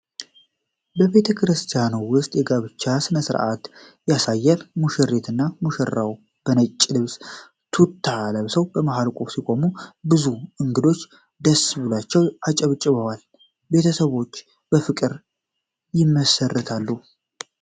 በቤተክርስቲያን ውስጥ የጋብቻ ሥነ ሥርዓት ያሳያል። ሙሽሪትና ሙሽራው በነጭ ልብስና ቱታ ለብሰው በመሃል ሲቆሙ፣ ብዙ እንግዶች ደስ ብሏቸው አጨብጭበዋል። ቤተሰቦች በፍቅር ይመሠርታሉ?